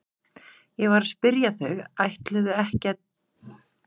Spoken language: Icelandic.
Ég var að spyrja hvort þau ætluðu ekki að tína ber fyrir veturinn.